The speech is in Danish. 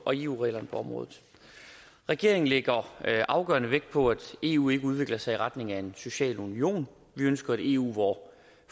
og eu reglerne på området regeringen lægger afgørende vægt på at eu ikke udvikler sig i retning af en social union vi ønsker et eu hvor